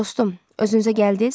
Hə dostum, özünüzə gəldiz?